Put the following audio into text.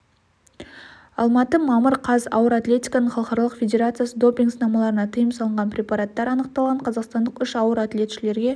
алматы мамыр қаз ауыр атлетиканың халықаралық федерациясы допинг-сынамаларында тыйым салынған препараттар анықталған қазақстандық үш ауыр атлетшілерге